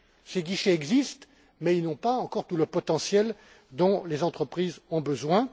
Ces guichets existent mais ils n'ont pas encore tout le potentiel dont les entreprises ont besoin.